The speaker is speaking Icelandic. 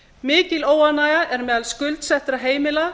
mikil óánægja er meðal skuldsettra heimila